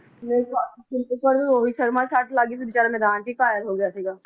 ਤੈਨੂੰ ਪਤਾ ਰੋਹਿਤ ਸ਼ਰਮਾ ਦੇ ਸੱਟ ਲੱਗ ਗਯੀ ਸੀ ਬੀਚਾਰਾ ਮੈਦਾਨ ਵਿਚ ਹੀ ਘਾਇਲ ਹੋ ਗਿਆ ਸੀਗਾ ਇੱਕ ਹੋਰ ਵੀ ਸੀਗਾ